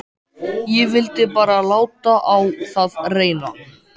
Ég vildi bara láta á það reyna.